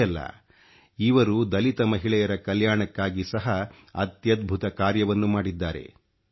ಇಷ್ಟೇ ಅಲ್ಲ ಇವರು ದಲಿತ ಮಹಿಳೆಯರ ಕಲ್ಯಾಣಕ್ಕಾಗಿ ಸಹಾ ಅತ್ಯದ್ಭುತ ಕಾರ್ಯವನ್ನು ಮಾಡಿದ್ದಾರೆ